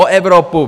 O Evropu!